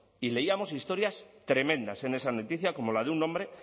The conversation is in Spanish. y leíamos historias tremendas en esa noticia como la de un hombre